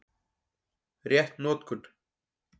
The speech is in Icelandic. Rétt notkun